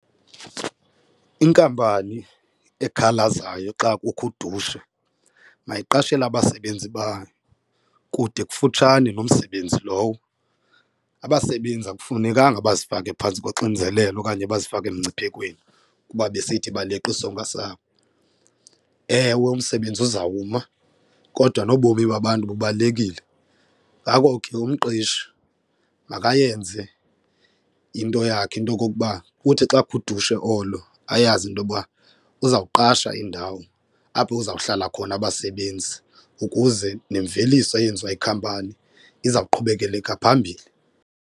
Inkampani ekhalazayo xa kukho udushe mayiqashele abasebenzi bayo kude kufutshane nomsebenzi lowo, abasebenzi akufunekanga bazifake phantsi koxinzelelo okanye bazifake emngciphekweni kuba besithi baleqa isonka sabo. Ewe, umsebenzi uzawuma kodwa nobomi babantu bubalulekile, ngako ke umqeshi makayenze into yakhe into okokuba kuthi xa kukho udushe olo ayazi intoba uzawuqasha indawo apho kuzawuhlala khona abasebenzi ukuze nemveliso eyenziwa yikhampani iza kuqhubekeleka phambili.